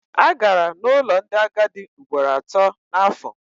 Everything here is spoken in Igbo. Agara n'ụlọ ndị agadi ugboro atọ n'afọ.